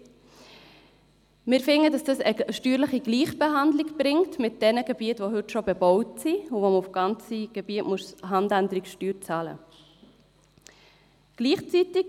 Wir sind der Meinung, dieser bringe eine steuerliche Gleichbehandlung mit jenen Gebieten, die heute bereits bebaut sind und wo man für ganze Gebiete Handänderungssteuern zahlen muss.